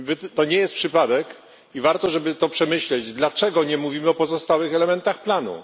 To nie przypadek, i warto przemyśleć, dlaczego nie mówimy o pozostałych elementach planu.